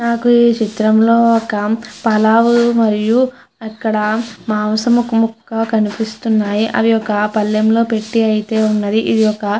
నాకు ఈ చిత్రం లో మనకు పల్లవు మరియు ఇక్క్కడ మాంసం ముక్కక కనిపిస్తుంది. ఒక పల్ల్లం లో పెట్టి అయతె వున్న్నది ఆది ఒక.